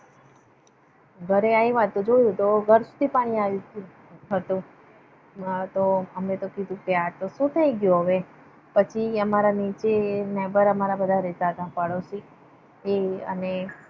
ઘરે આવિયા ને જોઉં તો ઘર સુધી પાણી આવીગયુ હતું. અમ તો અમને તો થયુ આ સુ થઇ ગયુ? હવે અમારા નીચે ના neighbour રહેતા હતા પાડોસી. આ અને